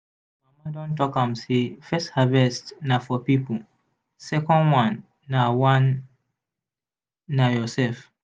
mama don talk am say first harvest na for people second one na one na your self.